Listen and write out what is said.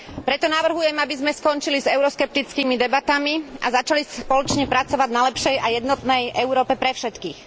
Preto navrhujem, aby sme skončili s euroskeptickými debatami a začali spoločne pracovať na lepšej a jednotnej Európe pre všetkých.